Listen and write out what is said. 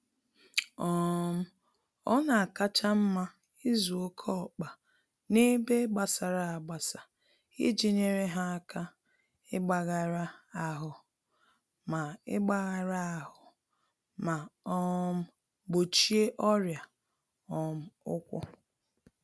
um Ọnakacha mma ịzụ oké ọkpa n'ebe gbasara agbasa iji nyèrè ha áká igbagara-ahụ ma igbagara-ahụ ma um gbochie ọrịa um ụkwụ